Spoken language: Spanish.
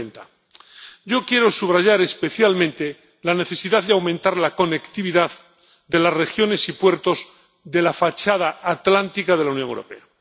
2030. Yo quiero subrayar especialmente la necesidad de aumentar la conectividad de las regiones y puertos de la fachada atlántica de la Unión Europea.